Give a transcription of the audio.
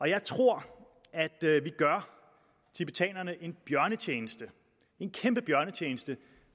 jeg tror at vi gør tibetanerne en bjørnetjeneste en kæmpe bjørnetjeneste